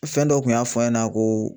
Fɛn dɔ kun y'a fɔ an ɲɛna ko